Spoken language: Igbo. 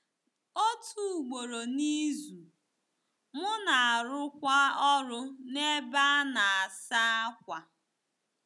Otu ugboro n'izu, m na-arụkwa ọrụ n'ebe a na-asa ákwà.